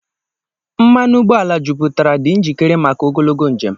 Mmanụ ụgbọala jupụtara, dị njikere maka ogologo njem.